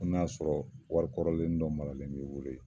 Fɔ n'a sɔrɔ wari kɔrɔlenni dɔ maralen bi bolo yen